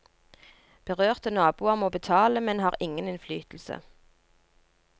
Berørte naboer må betale, men har ingen innflytelse.